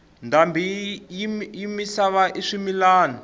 ndhambi yi misava i swimilana